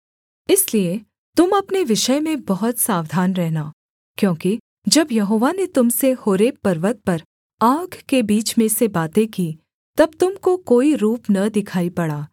इसलिए तुम अपने विषय में बहुत सावधान रहना क्योंकि जब यहोवा ने तुम से होरेब पर्वत पर आग के बीच में से बातें की तब तुम को कोई रूप न दिखाई पड़ा